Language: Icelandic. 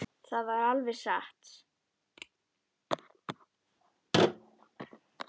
Það var alveg satt.